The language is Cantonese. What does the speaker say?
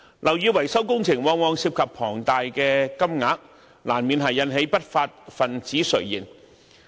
樓宇維修工程往往涉及龐大的金額，難免引起不法分子垂涎。